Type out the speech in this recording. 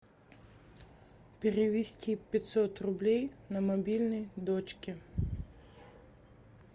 перевести пятьсот рублей на мобильный дочке